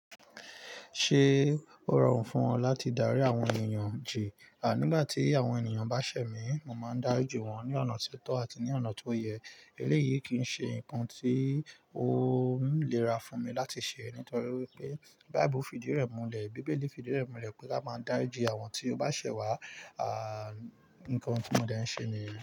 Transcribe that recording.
Ṣé ó rọrùn fún ọ láti darí àwọn ènìyàn jì? À, nígbà tí àwọn ènìyàn bá ṣẹ̀ mí, mo máa ń dá ri ji wọ́n ní ọ̀nà ti o tọ́ àti ní ọ̀nà tó yẹ. Eléyìí kì í ṣe nǹkan tí ó ń lẹ́ra fún mi láti ṣe nítorí wípé Bíbélì fi di irẹ̀ múlẹ̀ pé kí a máa dáríjì àwọn tí ó bá ṣẹ̀ wá. À, nǹkan tí mo dẹ́ ń ṣe níyen.